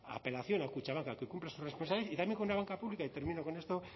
apelación a kutxabank a que cumpla su responsabilidad y también con una banca pública y termino con esto